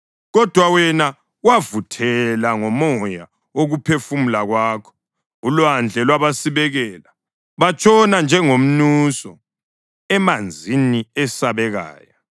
Kodwa wena wavuthela ngomoya wokuphefumula kwakho, ulwandle lwabasibekela. Batshona njengomnuso emanzini esabekayo.